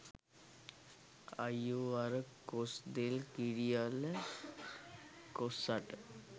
අය්යෝ අර කොස් දෙල් කිරි අල කොස් අට